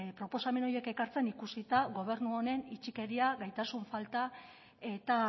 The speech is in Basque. proposamen horiek ekartzen ikusita gobernu honen itxikeria gaitasun falta eta